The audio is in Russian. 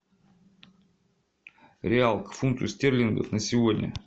реал к фунту стерлингов на сегодня